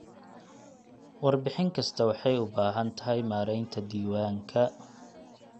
Warbixin kasta waxay u baahan tahay maaraynta diiwaanka.